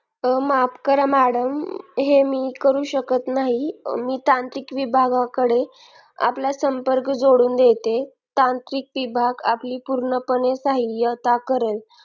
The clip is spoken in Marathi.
माफ करा madam हे मी करू शकत नाही मी तांत्रिक विभागाकडे आपला संपर्क जोडून देते तांत्रिक विभाग आपली पूर्णपणे सहायता करेल